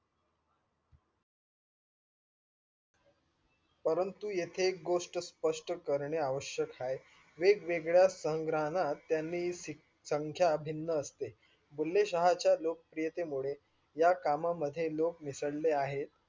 परंतु येथे एक गोष्ट स्पस्त करणे आवश्यक आहे, वेगवेगळ्या संग्राहणं त्यांनि सख्या भिन्न अश्ते. बुले शहा च्या लोक प्रीय्तेमुळे या कामामध्ये लोक मिसले आहे.